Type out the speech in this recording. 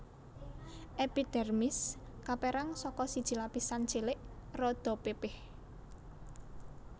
Èpidèrmis kapérang saka siji lapisan cilik rada pipih